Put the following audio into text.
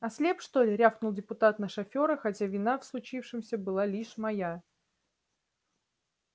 ослеп что ли рявкнул депутат на шофёра хотя вина в случившемся была лишь моя